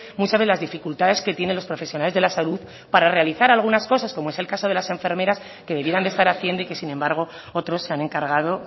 muchas de las dificultades que tienen los profesionales de la salud para realizar algunas cosas como es el caso de las enfermeras que debieran de estar haciendo y que sin embargo otros se han encargado